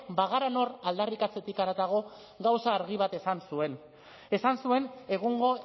bagara nor aldarrikatzetik haratago gauza argi bat esan zuen esan zuen egungo